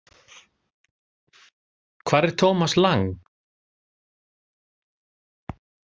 Hvar er Thomas Lang?